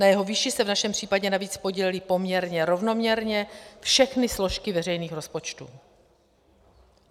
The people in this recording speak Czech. Na jeho výši se v našem případě navíc podílely poměrně rovnoměrně všechny složky veřejných rozpočtů.